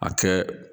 A kɛ